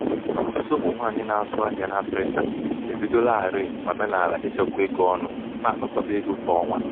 ọtụtụ ụmụ nwanyị na-azụ ahịa n'afrịka ebidolarii omenala ichekwa ego ọnụ na-akpakọba ego kwa ọnwa. ego kwa ọnwa.